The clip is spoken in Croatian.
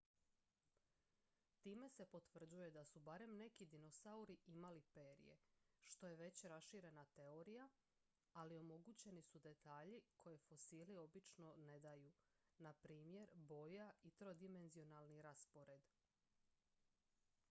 time se potvrđuje da su barem neki dinosauri imali perje što je već raširena teorija ali omogućeni su detalji koje fosili obično ne daju npr boja i trodimenzionalni raspored